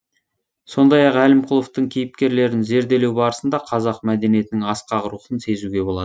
сондай ақ әлімқұловтың кейіпкерлерін зерделеу барысында қазақ мәдениетінің асқақ рухын сезуге болады